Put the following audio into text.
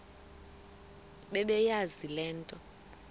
bebeyazi le nto